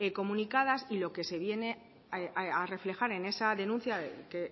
comunicadas y lo que se viene a reflejar en esa denuncia que